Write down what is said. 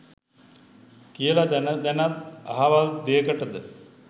කියල දැන දැනත් අහවල් දෙයකටද